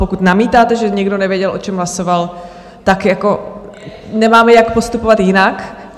Pokud namítáte, že někdo nevěděl, o čem hlasoval, tak jako nemáme jak postupovat jinak.